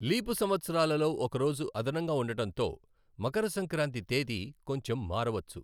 Leap సంవత్సరాలలో ఒక రోజు అదనంగా ఉండడంతో, మకర సంక్రాంతి తేదీ కొంచెం మారవచ్చు.